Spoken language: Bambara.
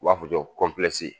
U b'a fɔ cɔ kɔnpilɛsi